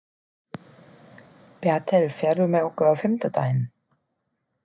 Bertel, ferð þú með okkur á fimmtudaginn?